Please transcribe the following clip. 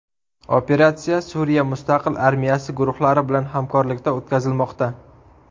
Operatsiya Suriya mustaqil armiyasi guruhlari bilan hamkorlikda o‘tkazilmoqda.